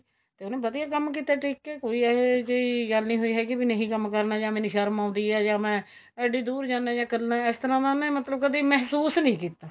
ਤੇ ਉਹਨੇ ਵਧੀਆ ਕੰਮ ਕੀਤਾ ਟਿਕ ਕੇ ਕੋਈ ਇਹ ਜਹੀ ਗੱਲ ਨਹੀਂ ਹੋਈ ਹੈਗੀ ਨਹੀਂ ਕੰਮ ਕਰਨਾ ਜਾਂ ਮੈਨੂੰ ਸ਼ਰਮ ਆਉਂਦੀ ਏ ਜਾਂ ਮੈਂ ਇੱਡੀ ਦੁਰ ਜਾਂਦਾ ਜਾਂ ਇੱਕਲਾ ਇਸ ਤਰ੍ਹਾਂ ਦਾ ਮਤਲਬ ਮੈਂ ਕਦੀ ਮਹਿਸੂਸ ਨੀਂ ਕੀਤਾ